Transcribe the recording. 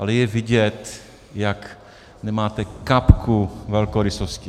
Ale je vidět, jak nemáte kapku velkorysosti!